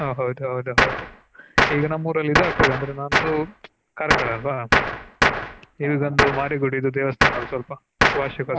ಹ ಹೌದು ಹೌದು ಹೌದು ಈಗ ನಮ್ಮಊರಲ್ಲಿ ಇದೆ ಆಗತದೇ ಅಂದ್ರೆ ನಮದು Karkala ಅಲ್ವ ಇದೊಂದು ಮಾರಿಗುಡಿ ದೇವಸ್ಥಾನ ಇದೆ ಸ್ವಲ್ಪ ವಾರ್ಷಿಕ